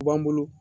U b'an bolo